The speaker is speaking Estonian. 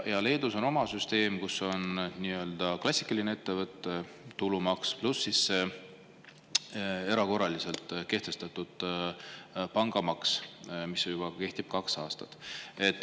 Leedus on oma süsteem, kus on nii-öelda klassikaline ettevõtte tulumaks pluss erakorraliselt kehtestatud pangamaks, mis kehtib kaks aastat.